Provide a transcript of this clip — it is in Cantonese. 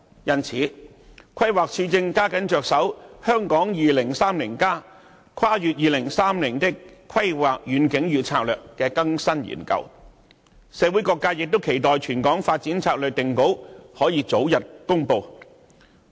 因此，規劃署正加緊着手《香港 2030+： 跨越2030年的規劃遠景與策略》的更新研究，社會各界亦期待全港發展策略定稿可以早日公布。